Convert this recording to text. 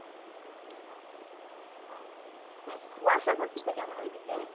হ্যাঁ কুয়াশা পড়তিছে কেমন ওই দিকে?